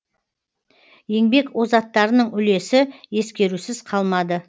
еңбек озаттарының үлесі ескерусіз қалмады